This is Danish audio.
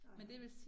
Nej